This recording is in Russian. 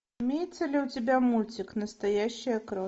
имеется ли у тебя мультик настоящая кровь